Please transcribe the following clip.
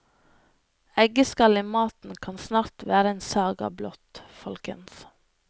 Eggeskall i maten kan snart være en saga blott, folkens.